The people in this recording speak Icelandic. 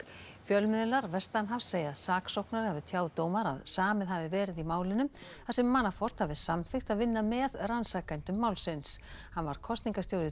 fjölmiðlar vestanhafs segja að saksóknari hafi tjáð dómara að samið hafi verið í málinu þar sem Manafort hafi samþykkt að vinna með rannsakendum málsins hann var kosningastjóri